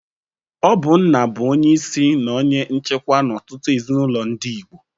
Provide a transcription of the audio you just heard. Ọ bụ nna bụ onyeisi na onye nchikwa n'ọtụtụ ezinụlọ ndị Igbo.